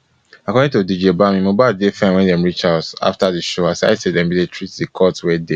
according to dj bami mohbad dey fine wen dem reach house afta di show aside say dem bin dey treat di cut wey dey